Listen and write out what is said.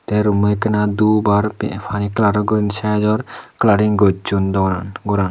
tey rummo ekkena dup ar pe pani kalaror guriney saidot kalaring gosson doganan goran.